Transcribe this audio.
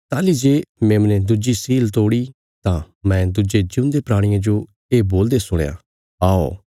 ताहली जे मेमने दुज्जी सील तोड़ी तां मैं दुज्जे जिऊंदे प्राणिये जो ये बोलदे सुणया औ